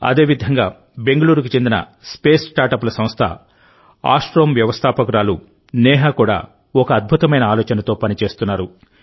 అదేవిధంగా బెంగుళూరుకు చెందిన స్పేస్ స్టార్టప్ ల సంస్థ ఆస్ట్రోమ్ వ్యవస్థాపకురాలు నేహా కూడా ఒక అద్భుతమైన ఆలోచనతో పని చేస్తున్నారు